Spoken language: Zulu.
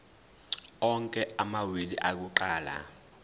onke amawili akuqala